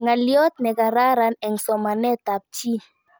Ng'aliyot nekararan eng' somanet ab chii